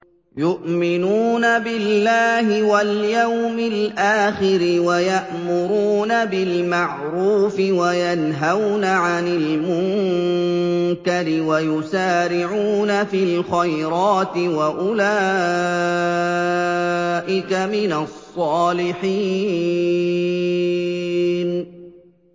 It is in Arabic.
يُؤْمِنُونَ بِاللَّهِ وَالْيَوْمِ الْآخِرِ وَيَأْمُرُونَ بِالْمَعْرُوفِ وَيَنْهَوْنَ عَنِ الْمُنكَرِ وَيُسَارِعُونَ فِي الْخَيْرَاتِ وَأُولَٰئِكَ مِنَ الصَّالِحِينَ